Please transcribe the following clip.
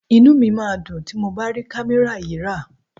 Inú mi máa dùn tí mo bá rí kámẹ́rà yìí rà.